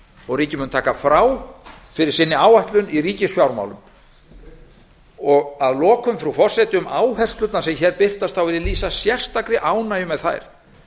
og ríkið mun taka frá fyrir áætlun sinni í ríkisfjármálum að lokum frú forseti um áherslurnar sem hér birtast þá vil ég lýsa sérstakri ánægju með þær